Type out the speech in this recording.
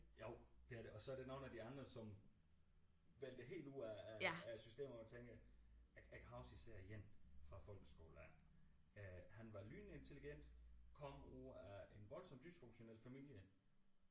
Jo det er det og så er der nogle af de andre som væltede helt ud af af af systemet hvor man tænker jeg jeg kan huske især en fra folkeskolen af øh han var lynende intelligent kom ud af en voldsomt dysfunktionel familie